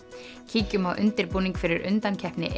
kíkjum á undirbúning fyrir undankeppni